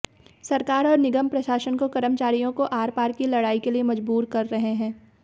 सरकार और निगम प्रशासन को कर्मचारियों को आरपार की लड़ाई केलिए मजबूर कर रहे हैं